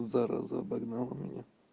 зараза обогнала меня